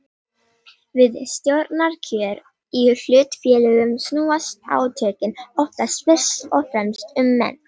Við stjórnarkjör í hlutafélögum snúast átökin oftast fyrst og fremst um menn.